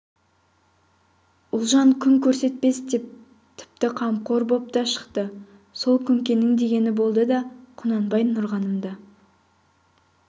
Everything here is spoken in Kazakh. ұлжан күн көрсетпес деп тіпті қамқор боп та шықты сол күнкенің дегені болды да құнанбай нұрғанымды